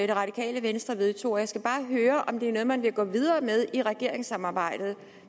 det radikale venstre vedtog og jeg skal bare høre om det er noget man vil gå videre med i regeringssamarbejdet jeg